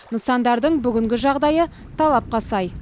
нысандардың бүгінгі жағдайы талапқа сай